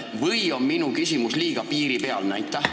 Või on minu küsimus liiga piiripealne?